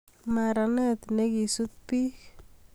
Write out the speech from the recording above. Maranet nekisut bik